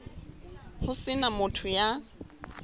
ho se na motho ya